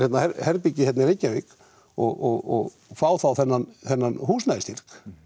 herbergi hérna í Reykjavík og fá þá þennan þennan